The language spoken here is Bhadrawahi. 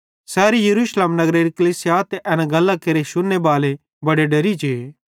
सैरी यरूशलेमेरी कलीसिया ते एन गल्लां केरे शुन्ने बाले बड़े डेरि जे